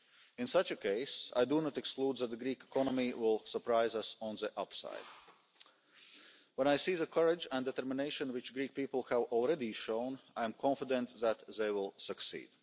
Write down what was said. In such a case, I do not exclude the possibility of the Greek economy surprising us on the upside. When I see the courage and determination which the Greek people have already shown, I am confident that they will succeed.